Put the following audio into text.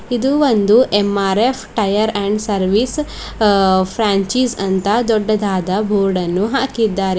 ಇದು ಒಂದು MRF tyre and service a franchise ಅಂತ ದೊಡ್ಡದಾದ ಬೋರ್ಡನ್ನು ಹಾಕಿದ್ದಾರೆ.